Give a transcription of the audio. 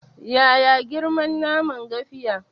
Yaya girman naman gafiya?